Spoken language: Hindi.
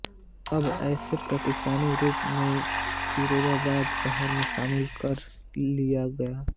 अब इसे प्रशासनिक रूप से फ़िरोज़ाबाद शहर में सम्मिलित कर लिया गया है